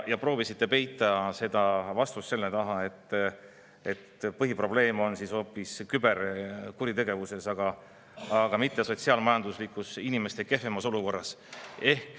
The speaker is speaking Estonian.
Te proovisite peita vastust selle taha, et põhiprobleem on hoopis küberkuritegevus, aga mitte inimeste kehvem sotsiaal-majanduslik olukord.